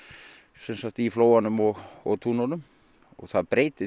sem sagt í flóanum og og túnunum og það breytir